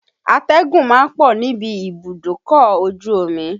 Atẹ́gùn ma ń pọ̀ níbi ibùdókọ̀ ojú omi